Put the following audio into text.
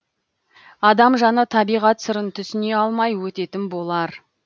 адам жаны табиғат сырын түсіне алмай өтетін болар